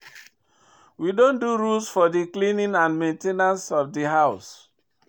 We don do rules for di cleaning and di main ten ance of di house.